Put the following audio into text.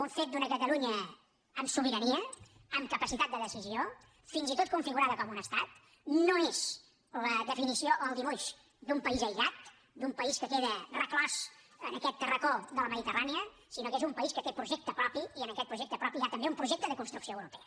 un fet d’una catalunya amb sobirania amb capacitat de decisió fins i tot configurada com un estat no és la definició o el dibuix d’un país aïllat d’un país que queda reclòs en aquest racó de la mediterrània sinó que és un país que té projecte propi i en aquest projecte propi hi ha també un projecte de construcció europea